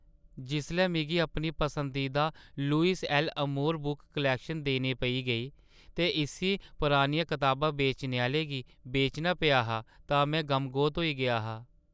जिसलै मिगी अपनी पसंदीदा Louis 'L'Amour book collection देने पेई गेई ते इस्सी परानियां कताबां बेचने आह्‌ले गी बेचना पेआ हा तां में गमगोत होई गेआ हा।